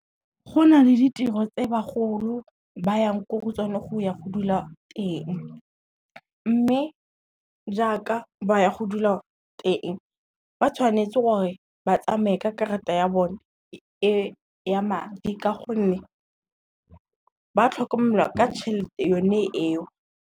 Go na le ditiro tse bagolo ba yang ko go tsone go ya go dula teng, mme jaaka ba ya go dula teng ba tshwanetse gore ba tsamaye ka karata ya bone ya madi ka gonne, ba tlhokomelwa ka tšhelete yone eo.